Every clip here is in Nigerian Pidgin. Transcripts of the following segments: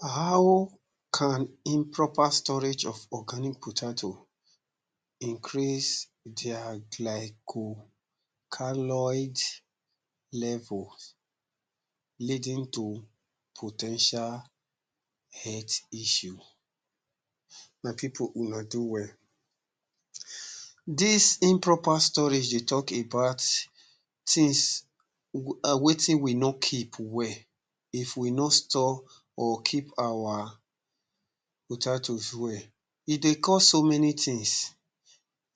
How can improper storage of organic potatoe increase their glyco-caliod levels leading to po ten tial health issues? My people una do well. Dis improper storage dey talk about things wetin we no keep well, if we no store or keep our potatoes well. E dey cause so many things,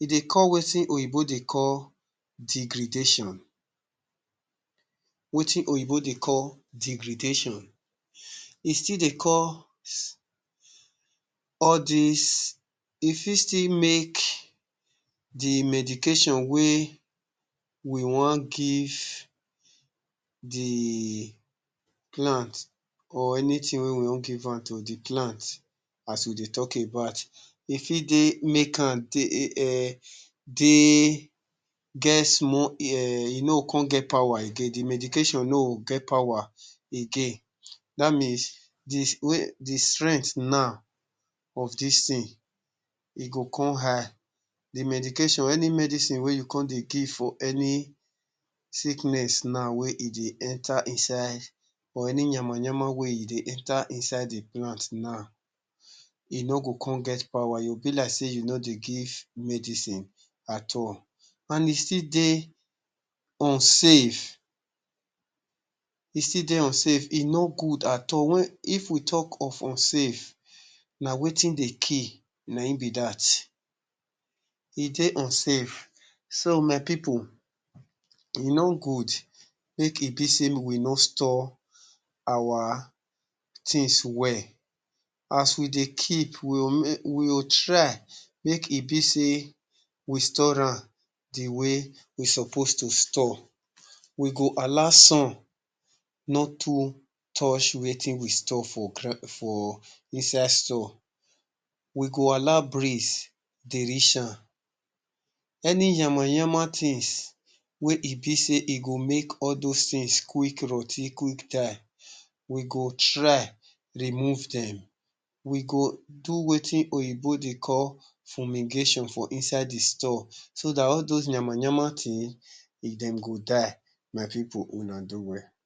e dey cause wetin oyibo dey call degradation, wetin oyibo dey call degradation, e still dey cause all these, e still fit make dey medication wey we wan give the plant or anything wey we wan give out to dey plant as we dey talk about, e fit dey make am dey um dey get small um e no go come get power again dey medication no go get power again that means dey strength now of dis thing, e go come high, dey medication any medicine wey you come dey give for any sickness now wey e dey enter inside or any yamayama wey e dey enter inside dey plant now e no go come get power you be like sey u no dey give medicine at all and e still dey unsafe, e still dey unsafe e no good at all if we talk of unsafe na wetin dey kill na im be dat. E dey unsafe so my people, e no good make e be sey wey no store our things well, as we dey keep we will try make e be sey we store am dey way we suppose to store we go allow sun not too touch wetin we store for inside store, we go allow breeze dey reach am. Any yamayama things wey e be sey e go make all those things quick rot ten quick die, we go try remove dem we go do wetin oyibo dey call fumigation for inside the store so that all those yamayama thing dem go die, my people una do well.